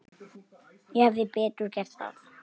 Ég hefði betur gert það.